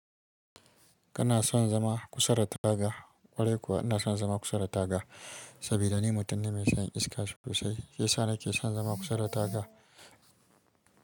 Kana son zama kusa taga? Ƙwarai kuwa ina son zama kusa da taga saboda ni mutum ne mai son iska sosai. Shi yasa nake son zama kusa da taga.